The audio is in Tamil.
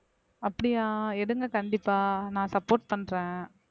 அப்படியா எடுங்க கண்டிப்பா நான் support பண்றேன்